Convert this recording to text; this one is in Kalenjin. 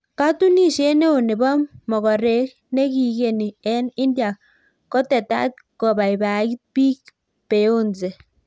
Katunisiet neoo nepoo mogorek negigenii eng India kotetat kopaipait piik Beyonce